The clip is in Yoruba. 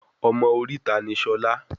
Ọmọ oríta ni Ṣolá